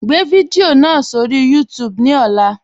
Gbẹ̀ fidiò náà sọ̀rọ̀ YouTube ní ọ̀là.